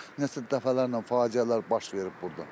Nə qədər dəfələrlə faciələr baş verib burda.